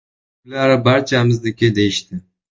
Ular: “Barchamizniki”, deyishdi.